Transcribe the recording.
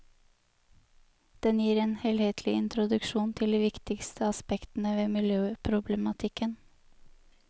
Den gir en helhetlig introduksjon til de viktigste aspektene ved miljøproblematikken.